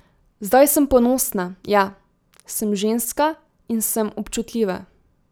Zdaj sem ponosna, ja, sem ženska in sem občutljiva.